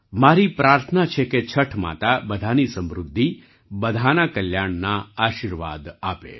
મારી પ્રાર્થના છે કે છઠ માતા બધાની સમૃદ્ધિ બધાના કલ્યાણના આશીર્વાદ આપે